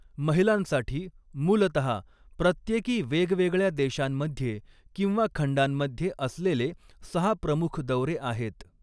महिलांसाठी, मूलतहा प्रत्येकी वेगवेगळ्या देशांमध्ये किंवा खंडांमध्ये असलेले सहा प्रमुख दौरे आहेत.